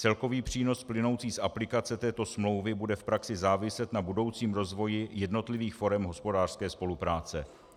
Celkový přínos plynoucí z aplikace této smlouvy bude v praxi záviset na budoucím rozvoji jednotlivých forem hospodářské spolupráce.